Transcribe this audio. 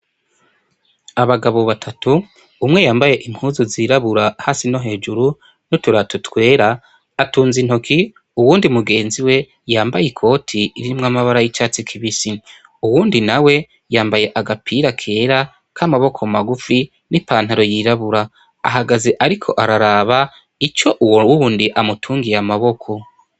Abagabo batatu umwe yambaye impuzu zirabura hasi no hejuru noturatotwera atunza intoki uwundi mugenzi we yambaye i koti irimwo amabara y'icatsi kibisi uwundi na we yambaye agapira kera k'amaboko magufi n'ipantaro yirabura, ahagaze ariko ararara ba ico uwo uwundi amutungiye amaboko.